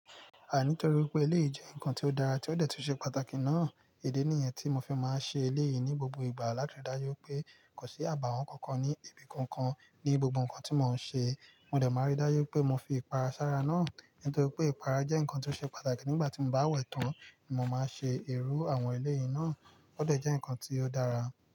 Àní torí wípé eléyìí jẹ́ nǹkan tí ó dára, tí ó dẹ̀ tun ṣe pàtàkì náà, idi nìyẹn tí mo fi máa ń ṣe eleyìí ní gbogbo ìgbà, láti ri dáju wipé kò sí àbàwọ́n kankan ní ibi kankan ní gbogbo nǹkan tí mò ń ṣe. Mo dẹ̀ máa rí dáju wipé mo fi ìpara sára náà nítorí pé ìpara jẹ́ nǹkan tí ó ṣe pàtàkì nígbà tí mo bá wẹ̀ tán ni mo máa ṣe iru àwọn eleyìí náà. Ó dẹ̀ jẹ́ nǹkan tí ó dára.